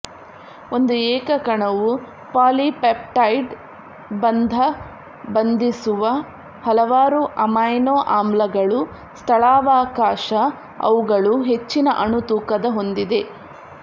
ಒಂದು ಏಕ ಕಣವು ಪಾಲಿಪೆಪ್ಟೈಡ್ ಬಂಧ ಬಂಧಿಸುವ ಹಲವಾರು ಅಮೈನೋ ಆಮ್ಲಗಳು ಸ್ಥಳಾವಕಾಶ ಅವುಗಳು ಹೆಚ್ಚಿನ ಅಣು ತೂಕದ ಹೊಂದಿವೆ